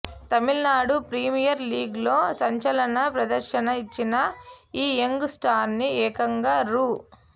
Tamil Nadu premier లీగ్లో సంచలన ప్రదర్శన ఇచ్చిన ఈ యంగ్ స్టార్ను ఏకంగా రూ